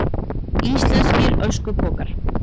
Íslenskir öskupokar.